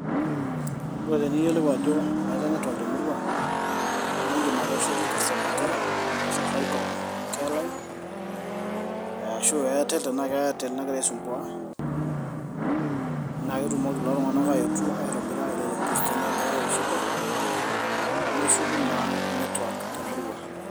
Ore teniyiolou ajo meetae netwak temurua naa idim atowoshoki customer care aa safaricom care line aashu Airtel tenaa keairtel nagira aisumbua naa ketumoki lelo Tung'anak aayetu aitobira lelo bustani tenaa ninche aau shida neshuku naa netwak temurua.